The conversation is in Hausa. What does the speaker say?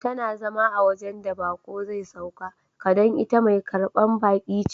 Tana zama a wajen da bako zai sauka ka don ita Mai karban baki ce.